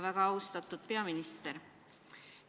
Väga austatud peaminister!